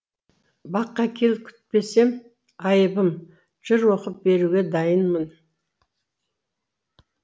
баққа кел күтпесем айыбым жыр оқып беруге дайынмын